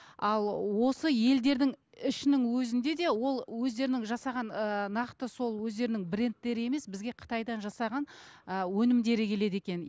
ал осы елдердің ішінің өзінде де ол өздерінің жасаған ыыы нақты сол өздерінің брендтері емес бізге қытайда жасаған ы өнімдері келеді екен